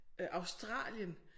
Øh Australien